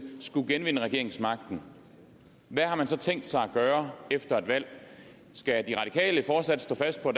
skulle genvinde regeringsmagten hvad har man så tænkt sig at gøre efter et valg skal de radikale fortsat stå fast på